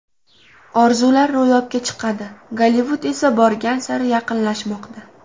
Orzular ro‘yobga chiqadi, Gollivud esa borgan sari yaqinlashmoqda!”.